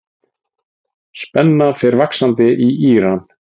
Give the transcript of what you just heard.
Spenna fer vaxandi í Íran.